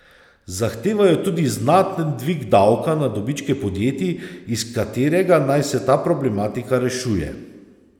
Zahtevajo tudi znaten dvig davka na dobičke podjetij, iz katerega naj se ta problematika rešuje.